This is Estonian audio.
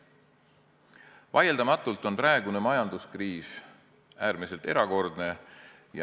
Vaieldamatult on praegune majanduskriis äärmiselt erakordne.